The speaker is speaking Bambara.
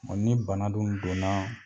Ɔ ni bana dun donna